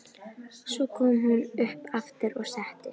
Svo kom hún upp aftur og settist.